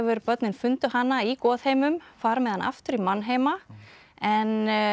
börnin fundu hana í goðheimum fara með hana aftur í mannheima en